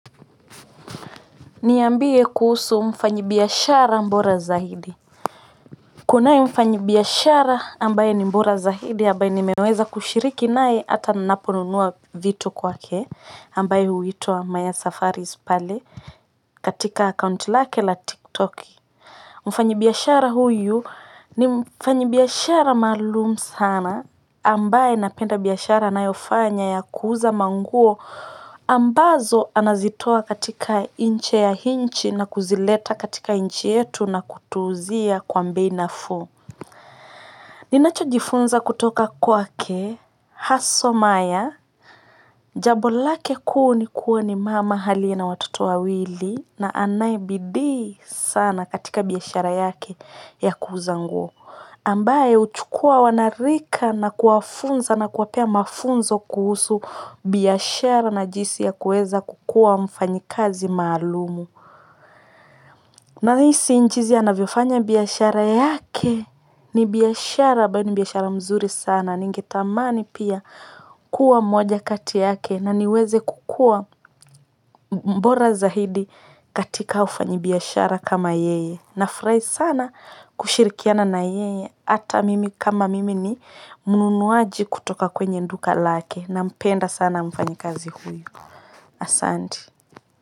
Niambie kuhusu mfanyibiashara bora zaidi. Kunaye mfanyabiashara ambaye ni mbora zaidi ambaye nimeweza kushiriki naye hata ninaponunua vitu kwake ambaye huitwa Maya Safaris pale katika account lake la Tiktok. Mfanyibiashara huyu ni mfanyibiashara maalum sana ambaye napenda biashara anayofanya ya kuuza manguo, ambazo anazitoa katika nje ya nchi na kuzileta katika nchi yetu na kutuuzia kwa bei nafuu. Ninachojifunza kutoka kwake, haswa Maya, jambo lake kuu ni kuwa ni mama aliye na watoto wa wili na anayebidii sana katika biashara yake ya kuuuza nguo. Ambaye huchukua wanarika na kuwafunza na kuwapea mafunzo kuhusu biashara na jinsi ya kuweza kukuwa mfanyikazi maalumu. Nahisi jinsi anavyofanya biashara yake ni biashara ambayo ni biashara mzuri sana. Ningetamani pia kuwa mmoja kati yake na niweze kukua mbora zaidi katika ufanyibiashara kama yeye. Nafurahi sana kushirikiana na yeye. Hata mimi kama mimi ni mnunuaji kutoka kwenye duka lake nampenda sana mfanyikazi huyu. Asante.